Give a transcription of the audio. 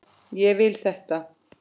Ég vil þetta.